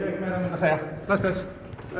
að segja bless bless